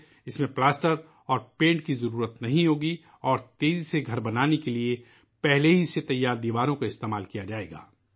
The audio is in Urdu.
اس میں پلاسٹر اور پینٹ کی ضرورت نہیں ہوگی اور گھر کو تیزی سے بنانے کے لئے پہلے سے تیار دیواریں استعمال کی جائیں گی